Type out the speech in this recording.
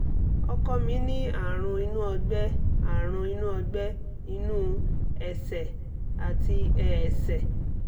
ọkọ mi ní àrùn inú ọ̀gbẹ́ àrùn inú ọ̀gbẹ́ inú ẹ̀sẹ̀ àti ẹ̀ẹ̀sẹ̀